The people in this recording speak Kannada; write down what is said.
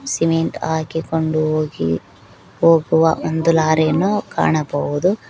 ಸಿಮೆಂಟ್ ಹಾಕಿಕೊಂಡು ಹೋಗಿ ಹೋಗುವ ಒಂದು ಲಾರಿಯನ್ನು ಕಾಣಬಹುದು.